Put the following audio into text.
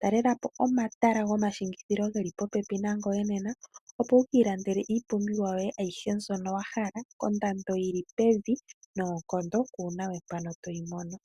Talela po omatala gomashingithilo geli popepi nangoye nena, opo wukii landele iipumbiwa yoye ayihe mbyono wahala kondando yili pevi noonkondo kuuna we mpono toyi mono.